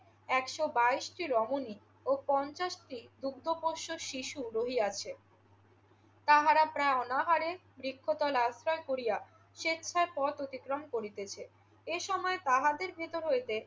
একশ বাইশটি রমনী ও পঞ্চাশটি দুগ্ধপোষ্য শিশু রহিয়াছে। তাহারা প্রায় অনাহারে বৃক্ষতলা আশ্রয় করিয়া স্বেচ্ছায় পথ অতিক্রম করিতেছে। এ সময় তাহাদের ভিতর হইতে